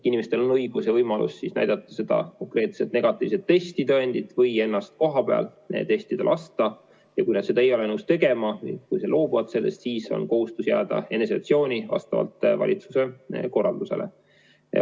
Inimestel on õigus ja võimalus näidata konkreetset negatiivse testi tõendit või ennast kohapeal testida lasta ja kui nad seda ei ole nõus tegema, kui nad loobuvad sellest, siis on vastavalt valitsuse korraldusele kohustus jääda isolatsiooni.